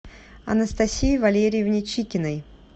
анастасии валерьевне чикиной